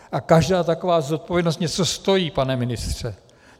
A každá taková zodpovědnost něco stojí, pane ministře.